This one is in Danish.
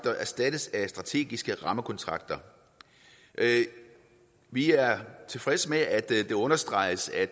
erstattes af strategiske rammekontrakter vi er tilfredse med at det understreges at